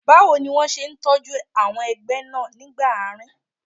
Báwo ni wọ́n ṣe tọ́jú àwọn ẹgbẹ́ náà nígbà àárín?